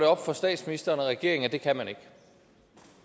op for statsministeren og regeringen at det kan man ikke at